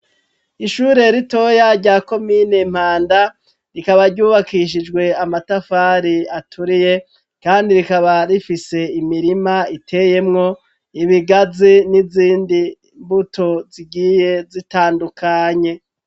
Ishure ritoya ryakomine Mpanda rikaba ryubakishijwe amatafari aturiye kandi rikaba rifise imirima iteyemwo ibigazi n'izindi mbuto zigiye zitandukanye.